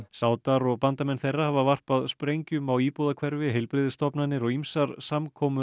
sádar og bandamenn þeirra hafa varpað sprengjum á íbúðahverfi heilbrigðisstofnanir og ýmsar samkomur